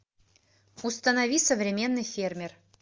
установи современный фермер